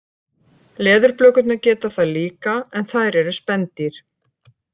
Leðurblökurnar geta það líka en þær eru spendýr.